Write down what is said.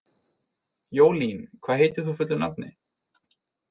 Jólín, hvað heitir þú fullu nafni?